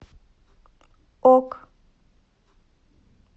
ок